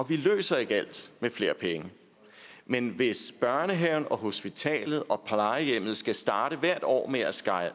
vi løser ikke alt med flere penge men hvis børnehaven og hospitalet og plejehjemmet skal starte hvert år med at skære